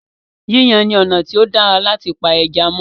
Yíyan ni ọ̀nà tí o dára láti pa ẹja mó.